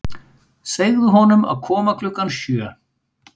Segðu honum að koma klukkan sjö.